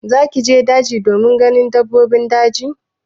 Zaki je daji domin ganin dabbobin daji?